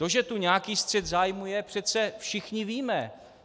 To, že tu nějaký střet zájmů je, přece všichni víme.